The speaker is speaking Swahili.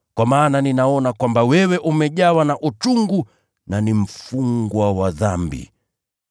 Kwa maana ninaona kwamba wewe umejawa na uchungu na ni mfungwa wa dhambi.”